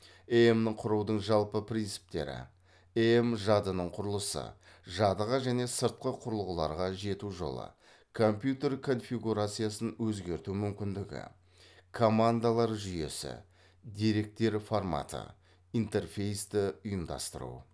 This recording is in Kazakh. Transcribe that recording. эем құрудың жалпы принциптері эем жадының құрылысы жадыға және сыртқы құрылғыларға жету жолы компьютер конфигурациясын өзгерту мүмкіндігі командалар жүйесі деректер форматы интерфейсті ұйымдастыру